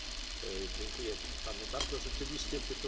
Rzeczywiście sytuacja jest nadzwyczajna, nie możemy opuścić Parlamentu.